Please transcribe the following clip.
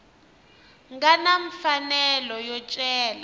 nga na mfanelo yo cela